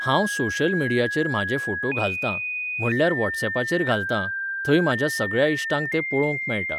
हांव सोशल मिडियाचेर म्हाजे फोटो घालतां, म्हणल्यार वॉटसऍपाचेर घालतां, थंय म्हाज्या सगळ्या इश्टांक तो पळोवंक मेळटा